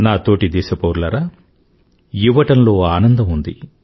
నా తోటి దేశ పౌరులారా ఇవ్వడంలో ఆనందం ఉంది